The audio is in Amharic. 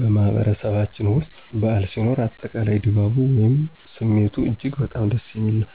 በማህበረሰባችን ውስጥ በዓል ሲኖር፣ አጠቃላይ ድባቡ ወይም ስሜቱ እጅግ በጣም ደስ የሚል ነው።